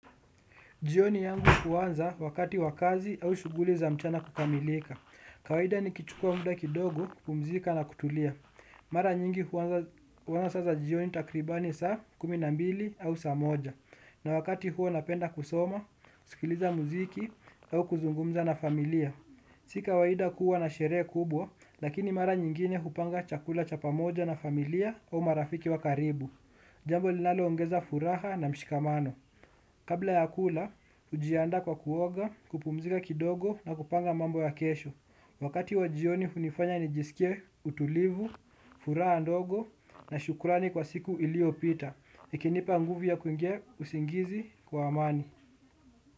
Jioni yangu huwanza wakati wa kazi au shuguli za mchana kukamilika. Kawaida nikichukua muda kidogo kupumzika na kutulia. Mara nyingi huwanza sasa jioni takribani saa kumi na mbili au saa moja. Na wakati huo napenda kusoma, sikiliza muziki au kuzungumza na familia. Si kawaida kuwa na sherehe kubwa, lakini mara nyingine hupanga chakula cha pamoja na familia au marafiki wa karibu. Jambo linalo ongeza furaha na mshikamano. Kabla ya kula hujiandaa kwa kuoga kupumzika kidogo na kupanga mambo ya kesho. Wakati wa jioni unifanya nijisikie utulivu, furaha ndogo na shukurani kwa siku ilio pita ikinipa nguvu ya kuingia usingizi kwa amani.